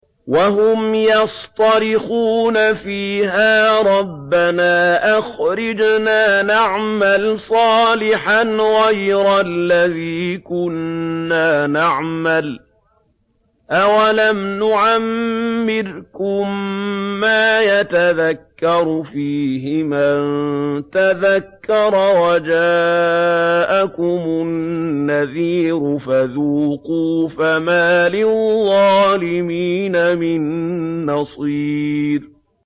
وَهُمْ يَصْطَرِخُونَ فِيهَا رَبَّنَا أَخْرِجْنَا نَعْمَلْ صَالِحًا غَيْرَ الَّذِي كُنَّا نَعْمَلُ ۚ أَوَلَمْ نُعَمِّرْكُم مَّا يَتَذَكَّرُ فِيهِ مَن تَذَكَّرَ وَجَاءَكُمُ النَّذِيرُ ۖ فَذُوقُوا فَمَا لِلظَّالِمِينَ مِن نَّصِيرٍ